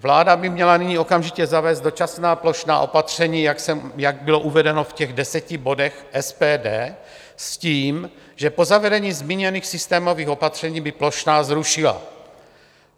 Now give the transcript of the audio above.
Vláda by měla nyní okamžitě zavést dočasná plošná opatření, jak bylo uvedeno v těch deseti bodech SPD, s tím že po zavedení zmíněných systémových opatření by plošná zrušila.